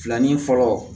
Filanin fɔlɔ